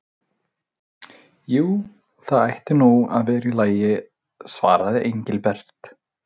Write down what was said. Jú, það ætti nú að vera í lagi svaraði Engilbert.